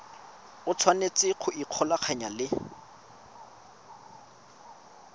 o tshwanetse go ikgolaganya le